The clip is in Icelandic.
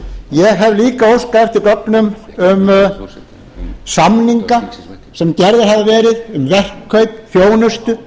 ég hef líka óskað eftir gögnum um samninga sem gerðir hafa verið um verkkaup þjónustu